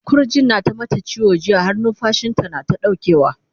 kirjin ta na ta mata ciwo jiya har numfashinta nata ɗaukewa